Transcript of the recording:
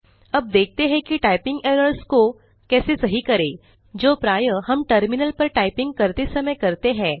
अब देखते हैं कि टाइपिंग एरर्स को कैसे सही करें जो प्रायः हम टर्मिनल पर टाइपिंग करते समय करते हैं